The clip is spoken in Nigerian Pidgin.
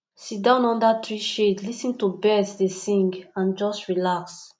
sit down under tree shade lis ten to birds dey sing and just relax